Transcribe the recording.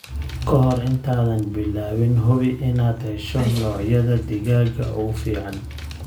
Kahor intaadan bilaabin, hubi inaad hesho noocyada digaaga ee ugu fiican.